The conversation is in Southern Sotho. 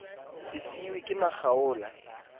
se a siuwe ke makgaola